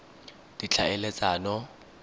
ditlhaeletsano